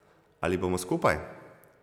Ali bomo skupaj?